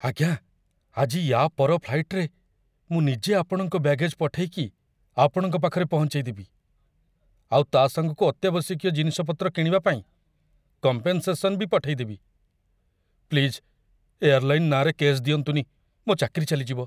ଆଜ୍ଞା, ଆଜି ୟା' ପର ଫ୍ଲାଇଟ୍‌ରେ ମୁଁ ନିଜେ ଆପଣଙ୍କ ବ୍ୟାଗେଜ୍ ପଠେଇକି ଆପଣଙ୍କ ପାଖରେ ପହଞ୍ଚେଇଦେବି, ଆଉ ତା' ସାଙ୍ଗକୁ ଅତ୍ୟାବଶ୍ୟକୀୟ ଜିନିଷପତ୍ର କିଣିବାପାଇଁ କମ୍ପେନ୍‌ସେସନ୍ ବି ପଠେଇଦେବି । ପ୍ଲିଜ୍ ଏୟାରଲାଇନ୍ ନାଁରେ କେସ୍ ଦିଅନ୍ତୁନି, ମୋ' ଚାକିରି ଚାଲିଯିବ!